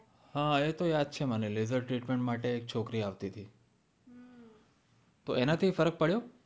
હા એતો યાદ છે મને lessor treatment માટે એક છોકરી આવતી હતી તો એનાથી ફરક પડ્યો